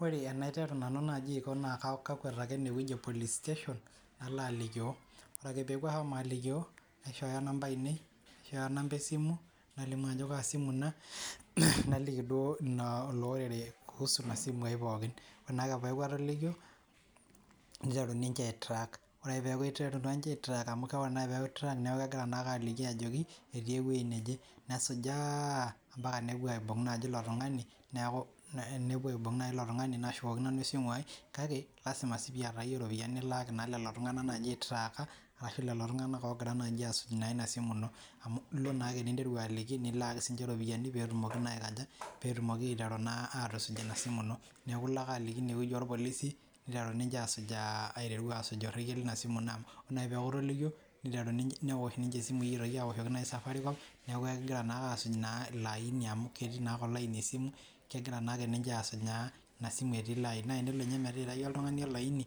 Ore enaiteru naaji nanu naa kakwet ake enewueji e police station nalo alikioo ore ake peeku ashomo alikioo, naishooyo inamba aainei naishooyo inamba esimu nalimu ajo kaa simu ina naliki duoo ilo ordered kuusu ina simuai pookin. Ore peeku atolikio, ninteru ninche aai track ore peeiteru ninche aai track neeku kiterunninche aayiolou ajo etii wueji neje, nesujaa amelala nepuo aaibung naaji ilo tung'ani, naashukokini nanu esimuai kake lasima piiyata sii ninye iyie iropiyiani nilaaki naa lelo tung'ana naaji ooitraaka ashuu oogira aasuj ina simu ino amu ilo naa ninteru aliki nilak naa sii ninche iropiyiani peetumoki naa aatusuj ina simu ino. Neeku ilo ake ine wueji oo rpolisi ninteru ninche aasujaa ina simu ino niteru aasuj neoshoki safaricom aaoshoki naa ilo aaini amuu kegira naake ninche aasujaa ina simu etii ilo aaini, naa tenebo ninye ninturrayie ilo aaini